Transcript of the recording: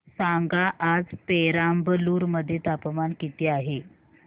सांगा आज पेराम्बलुर मध्ये तापमान किती आहे